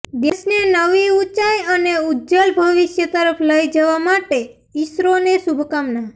દેશને નવી ઉંચાઈ અને ઉજ્જલ ભવિષ્ય તરફ લઈ જવા માટે ઈસરોને શુભકામના